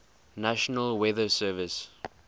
national weather service